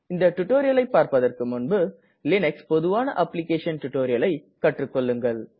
இந்த டுடோரியலை பார்பதற்கு முன்பு லீனக்ஸில் பொதுவான அப்ளிகேஷன் டுடோரியலை கற்றுக்கெள்ளுங்கள்